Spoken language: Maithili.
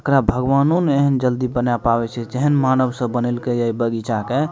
एकरा भगवानो ने जल्दी बना पावे छै जेहेन मानव सब बनेलके ये ए बगीचा के।